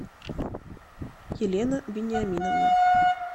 елена вениаминовна